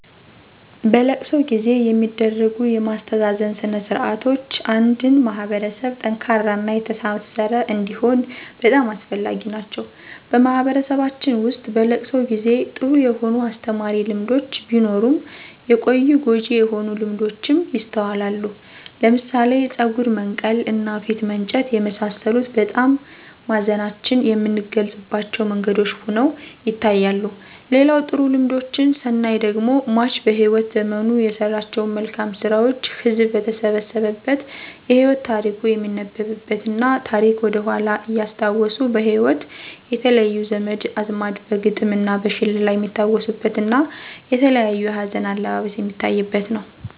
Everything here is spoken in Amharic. በለቅሶ ጊዜ የሚደረጉ የማስተዛዘን ስነ ስርዓቶች አንድን ማህበረሰብ ጠንካራና የተሣሠረ እንዲሆን በጣም አስፈላጊ ናቸዉ። በማህበረሰባችን ውስጥ በለቅሶ ጊዜ ጥሩ የሆኑ አስተማሪ ልምዶች ቢኖሩም የቆዩ ጎጂ የሆኑ ልምዶችም ይስተዋላሉ ለምሳሌ ፀጉር መንቀል እና ፊት መንጨት የመሳሰሉት በጣም ማዘናችን የምንገልፅባቸው መንገዶች ሁነው ይታያሉ። ሌላው ጥሩ ልምዶችን ስናይ ደግሞ ሟች በህይወት ዘመኑ የሰራቸውን መልካም ስራዎችን ህዝብ በተሰበሰበበት የህይወት ታሪኩ የሚነበብበት እና ታሪክን ወደኃላ እያስታዎሱ በህይወት የተለዩ ዘመድ አዝማድ በግጥም እና በሽለላ የሚታወሱበት እና የተለያዩ የሀዘን አለባበስ የሚታይበት ነው።